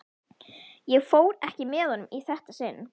Ég fór ekki með honum í þetta sinn.